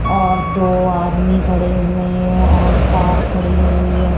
और दो आदमी खड़े हुए हैं और कार खड़ी हुई है।